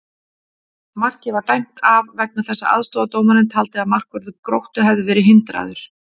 Markið var dæmt af vegna þess að aðstoðardómarinn taldi að markvörður Gróttu hefði verið hindraður!